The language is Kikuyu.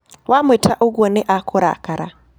Wamwĩta ũguo, nĩ akũrakara.